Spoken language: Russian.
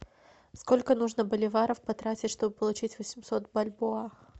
сколько нужно боливаров потратить чтобы получить восемьсот бальбоа